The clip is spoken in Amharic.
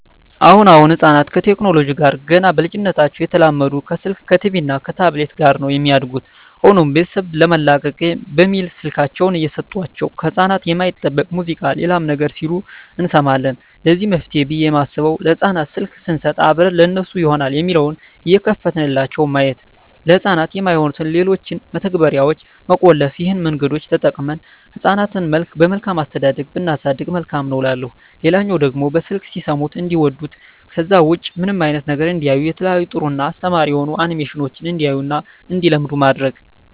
አሁን አሁን ህጻናት ከቴክኖለጂው ጋር ገና በልጂነታቸው እየተላመዱ ከስልክ ከቲቪ እና ከታብሌት ጋር ነው የሚያድጉት። ሆኖም ቤተሰብ ለመላቀቅ በሚል ስልካቸውን እየሰጦቸው ከህጻናት የማይጠበቅ ሙዚቃ ሌላም ነገር ሲሉ እንሰማለን ለዚህ መፍትሄ ብየ የማስበው ለህጻናት ስልክ ሰንሰጥ አብረን ለነሱ ይሆናል የሚለውን እየከፈትንላቸው ማየት፤ ለህጻናት የማይሆኑትን ሌሎችን መተግበርያዋች መቆለፍ ይህን መንገዶች ተጠቅመን ህጻናትን በመልካም አስተዳደግ ብናሳድግ መልካም ነው እላለሁ። ሌላው ደግሞ በስልክ ሲሰሙት እንዲዋዱት ከዛ ውጭ ምንም አይነት ነገር እንዳያዩ የተለያዩ ጥሩ እና አስተማሪ የሆኑ አኒሜሽኖችን እንዲያዩ እና እንዲለምዱ ማድረግ።